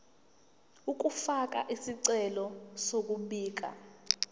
ukufaka isicelo sokubika